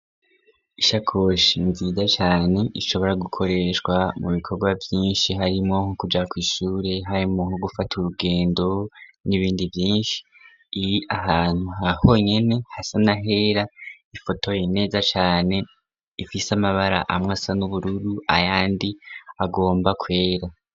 Ishakoshi nziza cane ishobora gukoreshwa mu bikorwa vyinshi. Harimo no kuja ku ishure harimo ho gufata urugendo n'ibindi vyinshi iyi ahantu ha honyene hasanahera ifotoye neza cane ifise amabara amwe asa n'ubururu ayandi agomba kwera..